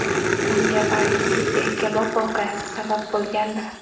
Bunga balki, Yakkabog‘ voqeasi sabab bo‘lgandir.